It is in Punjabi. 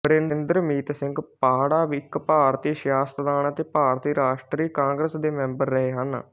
ਬਰਿੰਦਰਮੀਤ ਸਿੰਘ ਪਾਹੜਾ ਇੱਕ ਭਾਰਤੀ ਸਿਆਸਤਦਾਨ ਅਤੇ ਭਾਰਤੀ ਰਾਸ਼ਟਰੀ ਕਾਂਗਰਸ ਦੇ ਮੈਂਬਰ ਰਹੇ ਹਨ